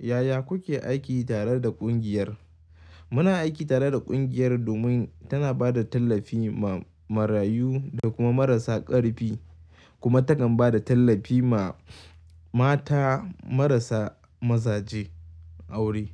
Yaya kuke aiki tare da kungiyar? Muna aiki tare da kungiyar domin tana ba da tallafi ma marayu da kuma marasa ƙarfi kuma takan ba da tallafi ma mata marasa mazaje aure.